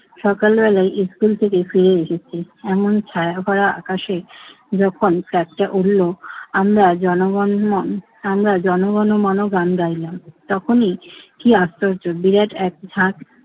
সকালবেলা স্কুল থেকে ফিরে এসেছি। এমন ছায়াভরা আকাশে যখন flag টা উড়ল আমরা জনগণমন আমরা জনগণমন গান গাইলাম। তখনি কি আশ্চর্য বিরাট এক ঝাঁক